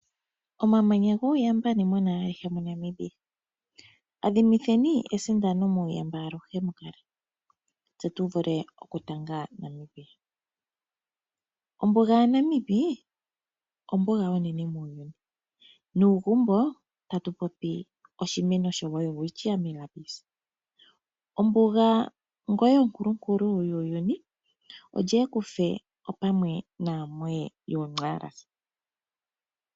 Omamanya guuyamba nuwanawa awuhe moNamibia. Adhimitheni esindano muuyamba aluhe mukale, tse tuvule okutanga Namibia. Ombuga yaNamib ombuga onene muuyuni, nuugumbo tatu popi oshimeno shoWelwitchia Mirabis. Ombuga ngoye onkulunkulu yuuyuni olye ekufe opamwe naamoye yooNxaras?